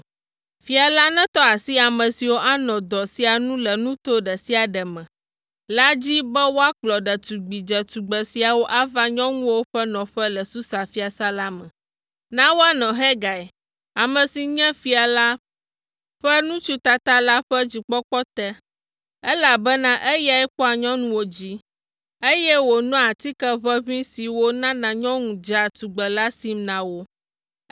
Fia la netɔ asi ame siwo anɔ dɔ sia nu le nuto ɖe sia ɖe me la dzi be woakplɔ ɖetugbi dzetugbe siawo ava nyɔnuwo ƒe nɔƒe le Susa fiasã la me. Na woanɔ Hegai, ame si nye fia la ƒe ŋutsu tata la ƒe dzikpɔkpɔ te, elabena eyae kpɔa nyɔnuwo dzi, eye wòanɔ atike ʋeʋĩ siwo nana nyɔnu dzea tugbe la sim na wo,